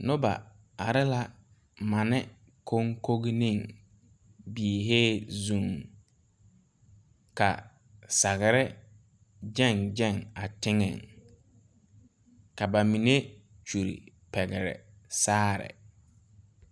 Nobɔ are la mane koŋkoneŋ biihee zuŋ ka sagre gyɛŋ gyɛŋ a teŋɛŋ ka ba mine kyule pɛgle saare.